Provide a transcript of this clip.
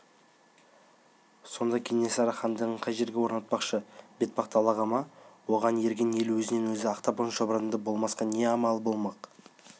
сонда кенесары хандығын қай жерге орнатпақшы бетпақ далаға ма оған ерген ел өзінен-өзі ақтабан-шұбырынды болмасқа не амалы болмақ